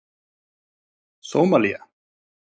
Sómalía